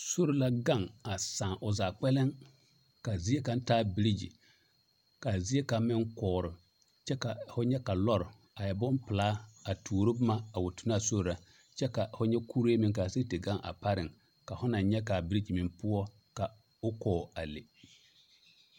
Sori la gaŋ a saa zaa kpɛlɛm kaa zie kaŋ taa birigi kaa zie kaŋ meŋ kɔɔre kyɛ kaa fo nyɛ ka lɔɔre a e bompelaa tuoro boma a wa tu naa sori na kyɛ ka fo nyɛ kuree meŋ kaa sigi te gaŋ a pareŋ ka fo naŋ nyɛ kaa birigi meŋ poɔ ka o kɔɔ a le.